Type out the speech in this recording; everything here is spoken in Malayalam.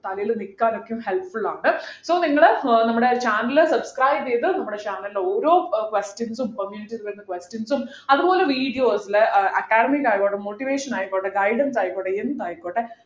തലയിൽ നിൽക്കാൻ ഒക്കെ helpful ആണ് so നിങ്ങള് ഏർ നമ്മുടെ channel subscribe ചെയ്ത് നമ്മുടെ channel ൽ ഓരോ questions ഉം community page ൽ വരുന്ന questions ഉം അതുപോലെ videos ലു academics ആയിക്കോട്ടെ motivation ആയിക്കോട്ടെ guidance ആയിക്കോട്ടെ എന്ത് ആയിക്കോട്ടെ